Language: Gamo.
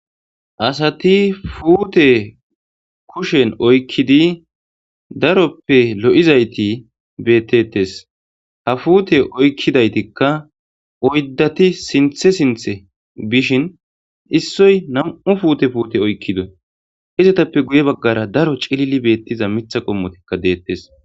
Asathi puuthe kushen oykkidi daroppe lo7iza ethi beeththeeththes; ha puuthe oykkida ethikka oyddathi sinththe sinththe bishin issoy nam7u puute puute oykkido; izathappe guye baggara daro cilili beeththiza miththa qommothikka deeththes.